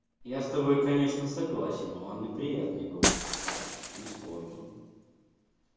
я с тобой конечно согласен он неприятный голос не спорю